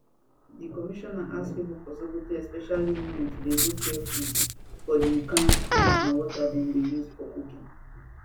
di commissioner ask pipo for sokoto especially women to dey look carefully for di kain of food and water dem dey use for cooking